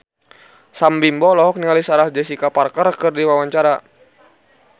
Sam Bimbo olohok ningali Sarah Jessica Parker keur diwawancara